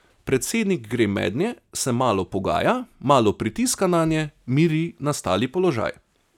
Predsednik gre mednje, se malo pogaja, malo pritiska nanje, miri nastali položaj.